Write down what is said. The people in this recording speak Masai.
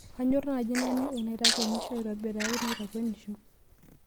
kanyor naaji naning' inaitakwenisho aitobiraki naitakwenisho